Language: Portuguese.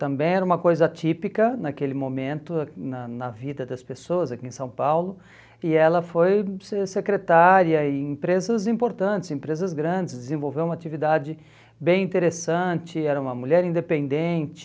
Também era uma coisa atípica naquele momento na na vida das pessoas aqui em São Paulo e ela foi secretária em empresas importantes, empresas grandes, desenvolveu uma atividade bem interessante, era uma mulher independente.